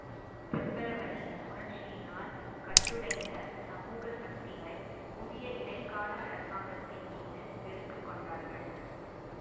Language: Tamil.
பெப்ரவரி புரட்சியினால் கட்டுடைந்த சமூக சக்திகள் புதிய இடைக்கால அரசாங்கத்தின் மீது வெறுப்பு கொண்டார்கள்